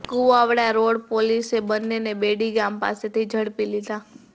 Kuvadva road પોલીસે બંનેને બેડી ગામ પાસેથી ઝડપી લીધા